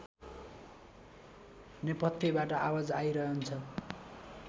नेपथ्यबाट आवाज आइरहन्छ